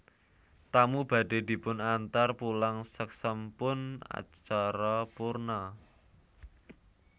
Tamu badhe dipunantar pulang saksampun acara purna